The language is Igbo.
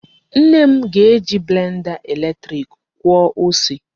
Nne m ga-eji blenda eletrik kwọọ ose.